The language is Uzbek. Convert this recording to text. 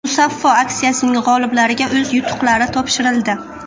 Musaffo aksiyasining g‘oliblariga o‘z yutuqlari topshirildi.